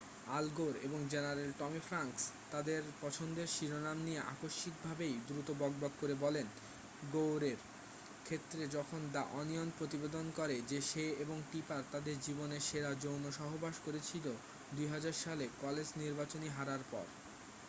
আল Gore এবং general Tommy Franks তাদের পছন্দের শিরোনাম নিয়ে আকস্মিকভাবেই দ্রুত বকবক করে বলেন গোরের ক্ষেত্রে যখন দ্যা ওনিয়ন প্রতিবেদন করে যে সে এবং টিপার তাদের জীবনের সেরা যৌনসহবাস করেছিল ২০০০ সালে কলেজ নির্বাচনী হারার পর ।